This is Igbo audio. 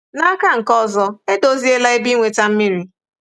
N'aka nke ọzọ, edoziela ebe inweta mmiri..